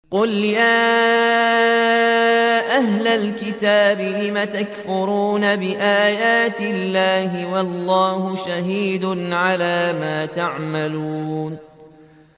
قُلْ يَا أَهْلَ الْكِتَابِ لِمَ تَكْفُرُونَ بِآيَاتِ اللَّهِ وَاللَّهُ شَهِيدٌ عَلَىٰ مَا تَعْمَلُونَ